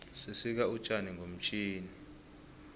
sisika utjani ngomtjhini